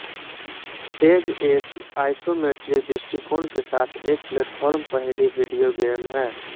as एक isometric दृष्टिकोण के साथ एक प्लेटफार्म पहेली वीडियो गेम है